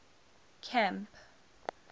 camp